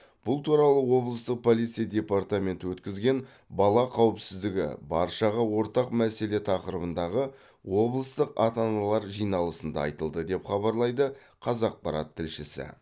бұл туралы облыстық полиция департаменті өткізген бала қауіпсіздігі баршаға ортақ мәселе тақырыбындағы облыстық ата аналар жиналысында айтылды деп хабарлайды қазақпарат тілшісі